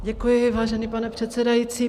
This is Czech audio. Děkuji, vážený pane předsedající.